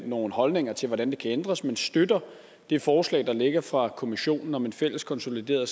nogle holdninger til hvordan det kan ændres men man støtter det forslag der ligger fra kommissionen om en fælles konsolideret